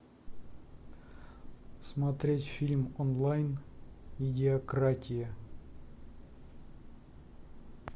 смотреть фильм онлайн идиократия